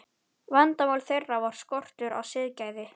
Vandamál þeirra var skortur á siðgæði.